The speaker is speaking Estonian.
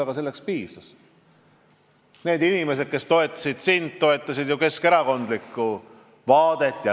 Aga need inimesed, kes sind siis toetasid, toetasid keskerakondlikke vaateid.